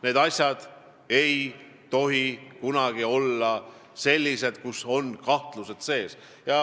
Nendes asjades ei tohi kunagi kahtlust olla.